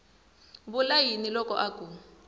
vula yini loko a ku